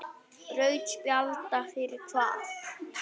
Rautt spjald fyrir hvað?